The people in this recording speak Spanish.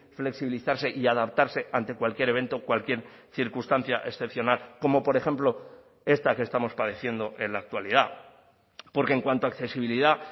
flexibilizarse y adaptarse ante cualquier evento cualquier circunstancia excepcional como por ejemplo esta que estamos padeciendo en la actualidad porque en cuanto a accesibilidad